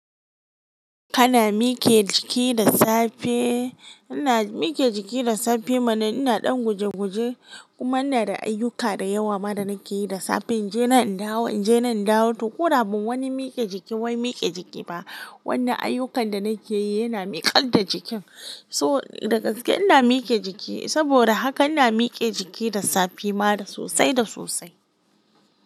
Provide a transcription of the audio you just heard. Kana mike jiki da safe. Ina mike jiki da safe mana ina ɗan guje-guje. Kuma ina da ay'yuka da yawa ma da nake yi da safe. In je nan in dawo, in je nan in dawo. To ko da ba wani mike jiki wai mike jiki ba, wannan ayyukan da nake yi yana miƙar da jikin. So da gaski'a ina mike jiki. Saboda haka ina mike jiki da safe ma da sosai da sosai.